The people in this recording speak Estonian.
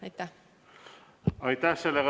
Aitäh!